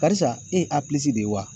Karisa e ye a pilisi de ye wa